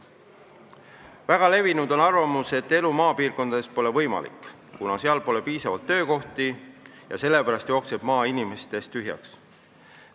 Väga levinud on arvamus, et elu maapiirkondades pole võimalik, kuna seal pole piisavalt töökohti, ja sellepärast jookseb maa inimestest tühjaks.